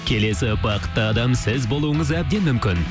келесі бақытты адам сіз болуыңыз әбден мүмкін